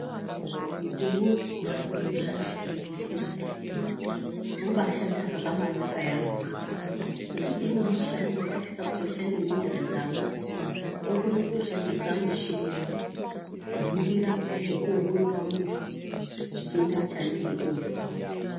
Mukore unowu vantu voshande muzvibhedhlera vobaashande zvakabaanaka yaamho ngekuti imweni mishando yavaisise kuti vashande ngenyara dzavo vokone kutoshandise muchini kuningira nekuongorore muntu chitenda chaanenge eizwa.